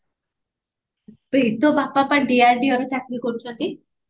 ବେ ତୋ ବାପା ବା DRDO ରେ ଚାକିରୀ କରୁଛନ୍ତି